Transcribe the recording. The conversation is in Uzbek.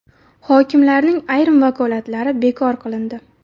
Hokimlarning ayrim vakolatlari bekor qilindi.